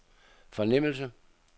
fornemmelse